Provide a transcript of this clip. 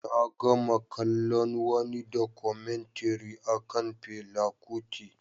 Na gama kallon wani Documentary akan Fela Kuti